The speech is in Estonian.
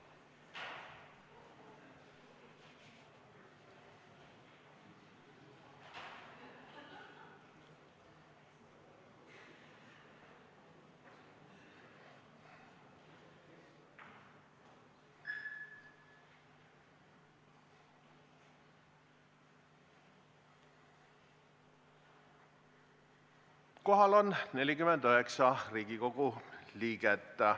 Kohaloleku kontroll Kohal on 49 Riigikogu liiget.